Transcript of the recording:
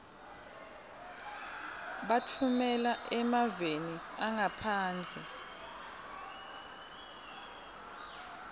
batfumela emaveni angaphandle